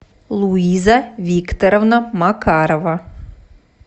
луиза викторовна макарова